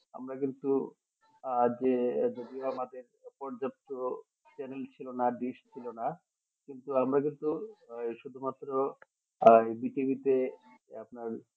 আমরা কিন্তু আহ যে যদিও আমাদের পর্যাপ্ত channel ছিল না dish ছিল না কিন্তু আমরা কিন্তু ওই শুধুমাত্র আহ জি টিভি তে আপনার